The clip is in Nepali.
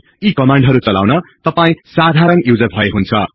यी कमान्डहरु चलाउन तपाई साधारण युजर भए हुन्छ